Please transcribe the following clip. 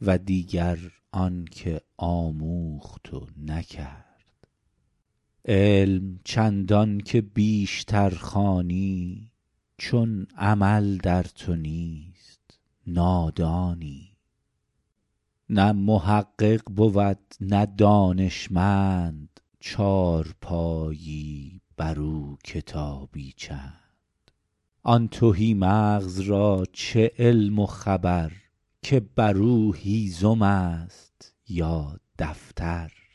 و دیگر آن که آموخت و نکرد علم چندان که بیشتر خوانی چون عمل در تو نیست نادانی نه محقق بود نه دانشمند چارپایی بر او کتابی چند آن تهی مغز را چه علم و خبر که بر او هیزم است یا دفتر